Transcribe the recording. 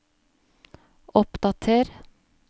oppdater